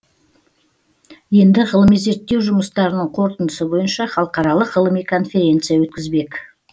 енді ғылыми зерттеу жұмыстарының қорытындысы бойынша халықаралық ғылыми конференция өткізбек